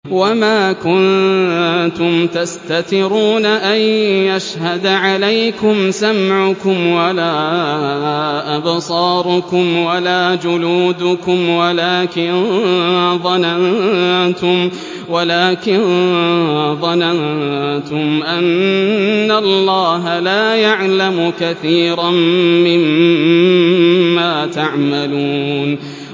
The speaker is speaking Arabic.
وَمَا كُنتُمْ تَسْتَتِرُونَ أَن يَشْهَدَ عَلَيْكُمْ سَمْعُكُمْ وَلَا أَبْصَارُكُمْ وَلَا جُلُودُكُمْ وَلَٰكِن ظَنَنتُمْ أَنَّ اللَّهَ لَا يَعْلَمُ كَثِيرًا مِّمَّا تَعْمَلُونَ